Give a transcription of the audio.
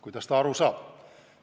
Kuidas ta aru saab?